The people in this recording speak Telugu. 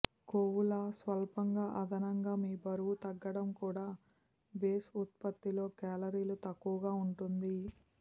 కొవ్వుల స్వల్పంగా అదనంగా మీ బరువు తగ్గడం కూడా బేస్ ఉత్పత్తిలో కేలరీలు తక్కువగా ఉంటుంది